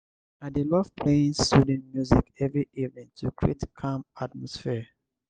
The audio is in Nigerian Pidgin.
i dey love playing soothing music every evening to create calm atmosphere.